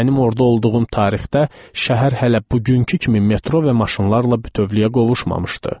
Mənim orda olduğum tarixdə şəhər hələ bugünkü kimi metro və maşınlarla bütövlüyə qovuşmamışdı.